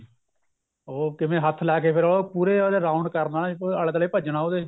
ਉਹ ਕਿਵੇਂ ਹੱਥ ਲਾ ਕੇ ਫੇਰ ਉਹ ਪੂਰੇ ਉਦੇ round ਕਰਨਾ ਉਹਦੇ ਆਲੇ ਦੁਆਲੇ ਭੱਜਣਾ ਉਹਦੇ